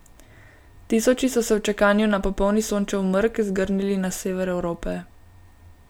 Tisoči so se v čakanju na popolni Sončev mrk zgrnili na sever Evrope.